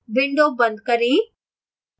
window बंद करें